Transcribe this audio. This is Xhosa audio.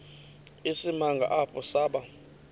isimanga apho saba